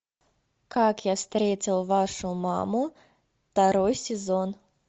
как я встретил вашу маму второй сезон